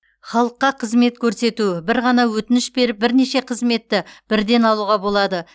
халыққа қызмет көрсету бір ғана өтініш беріп бірнеше қызметті бірден алуға болады